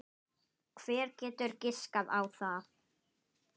Hver getur giskað á það?